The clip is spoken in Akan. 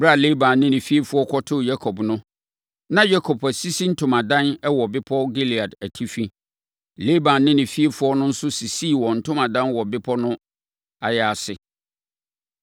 Ɛberɛ a Laban ne ne fiefoɔ kɔtoo Yakob no, na Yakob asisi ne ntomadan wɔ bepɔ Gilead atifi. Laban ne ne fiefoɔ no nso sisii wɔn ntomadan wɔ bepɔ no ayaase.